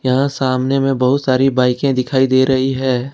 यह सामने में बहुत सारी बिकने दिखाई दे रही है।